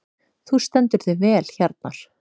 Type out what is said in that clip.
Þú stendur þig vel, Hjarnar!